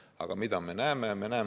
Aga mida me näeme?